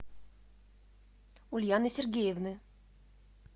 ульяны сергеевны